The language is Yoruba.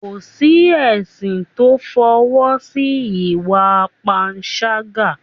kò sí ẹ̀sìn to f'ọwọ́ si ìwà panṣágà